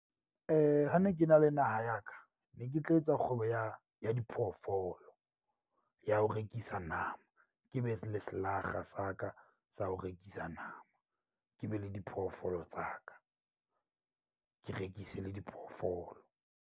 Ha ne ke na le naha ya ka, ne ke tla etsa kgwebo ya ya diphoofolo ya ho rekisa nama. Ke be le selakga sa ka sa ho rekisa nama. Ke be le diphoofolo tsa ka, ke rekise le diphoofolo.